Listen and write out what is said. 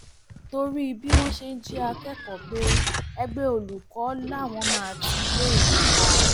torí bí wọn ṣe ń jí àwọn akẹkọọ gbé ẹgbẹ olùkọ làwọn máa ti iléèwé pa